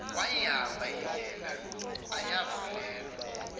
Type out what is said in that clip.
wayihamba indlela ayivulelwa